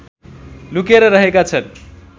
लुकेर रहेका छन्